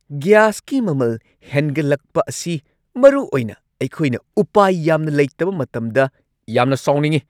ꯒ꯭ꯌꯥꯁꯀꯤ ꯃꯃꯜ ꯍꯦꯟꯒꯠꯂꯛꯄ ꯑꯁꯤ, ꯃꯔꯨꯑꯣꯏꯅ ꯑꯩꯈꯣꯏꯅ ꯎꯄꯥꯏ ꯌꯥꯝꯅ ꯂꯩꯇꯕ ꯃꯇꯝꯗ, ꯌꯥꯝꯅ ꯁꯥꯎꯅꯤꯡꯉꯤ꯫